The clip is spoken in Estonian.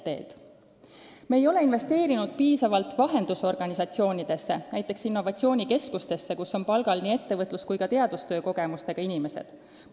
Me ei ole piisavalt investeerinud vahendusorganisatsioonidesse, näiteks innovatsioonikeskustesse, kus on palgal nii ettevõtlus- kui ka teadustöö kogemustega inimesed.